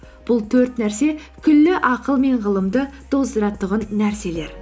бұл төрт нәрсе күллі ақыл мен ғылымды тоздыратұғын нәрселер